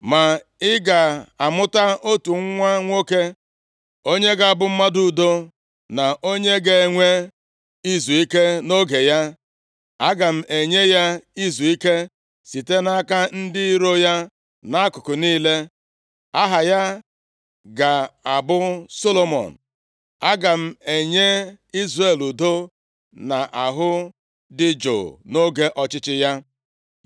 Ma ị ga-amụta otu nwa nwoke onye ga-abụ mmadụ udo, na onye ga-enwe izuike nʼoge ya. Aga m enye ya izuike site nʼaka ndị iro ya nʼakụkụ niile. Aha ya ga-abụ Solomọn. Aga m enye Izrel udo na ahụ dị jụụ nʼoge ọchịchị ya.